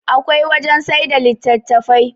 akwai wajen sai da litattafai